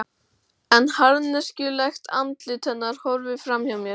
En harðneskjulegt andlit hennar horfir fram hjá mér.